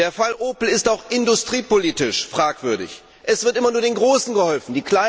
Der Fall Opel ist auch industriepolitisch fragwürdig. Es wird immer nur den Großen geholfen.